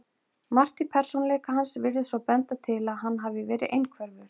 Margt í persónuleika hans virðist svo benda til að hann hafi verið einhverfur.